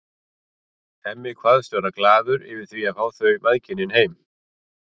Hemmi kveðst vera glaður yfir því að fá þau mæðginin heim.